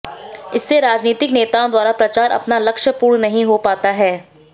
इससे राजनीतिक नेताओं द्वारा प्रचार अपना लक्ष्य पूर्ण नहीं हो पाता है